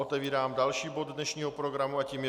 Otevírám další bod dnešního programu a tím je